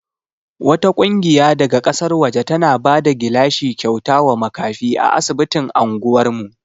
Wata ƙungiya daga ƙasar waje tana bada gilashi kyauta wa makafi a asibitin anguwar mu.